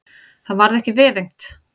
Það varð ekki vefengt.